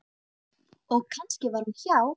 Og kannski var hún hjá